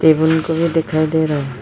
ये blue colour दिखाई दे रहा है।